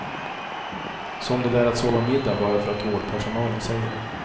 Som det där att sova middag bara för att vårdpersonalen säger det.